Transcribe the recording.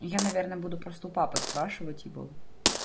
я наверное буду просто у папы спрашивать его